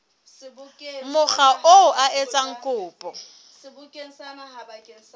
mokga oo a etsang kopo